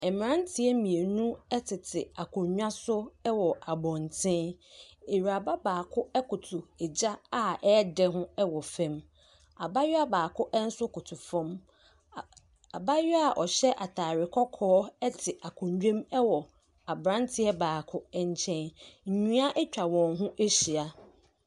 Mmeranteɛ mmienu tete akonnwa so wɔ abɔnten, awuraba baako koto gya a ɛredɛ ho wɔ fam, abaayewa baako nso te koto fam, abaayewa a ɔhyɛ ataare kɔkɔɔ te akonnwa mu wɔ aberanteɛ baako nkyɛn, nnua atwa wɔn ho ahyia.